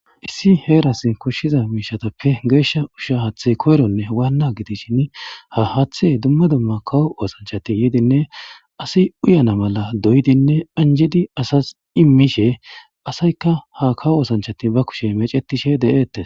Issi heras koshiza mishatappe gesha usha hathey koyrone Wana gidishn ha hathey dumma dumma kawo osanchat yidinne as uyana mala doyid anjid asas imishe asayka ga kawo osanchat ba kushe mecetishe detes.